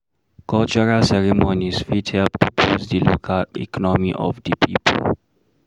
cultural ceremonies fit help to boost di local economy of di pipo